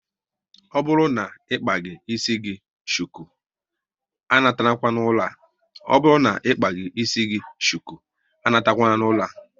Ọ bụrụ na ịkpaghi ịsị gị shuku, a natakwala n'ụlọ a